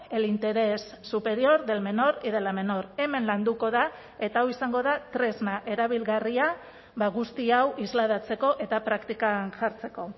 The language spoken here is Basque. el interés superior del menor y de la menor hemen landuko da eta hau izango da tresna erabilgarria guzti hau islatzeko eta praktikan jartzeko